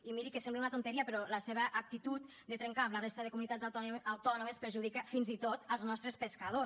i miri que sembla una tonteria però la seva actitud de trencar amb la resta de comunitats autònomes perjudica fins i tot els nostres pescadors